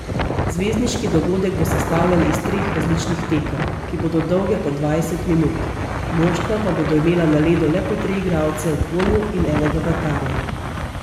Zvezdniški dogodek bo sestavljen iz treh različnih tekem, ki bodo dolge po dvajset minut, moštva pa bodo imela na ledu le po tri igralce v polju in enega vratarja.